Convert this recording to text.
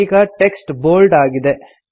ಈಗ text bold ಆಗಿದೆ